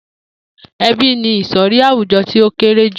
E̩bí ni ìsò̩rí àwùjo̩ tí ó kéré jù